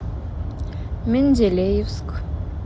менделеевск